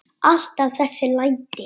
Alltaf þessi læti.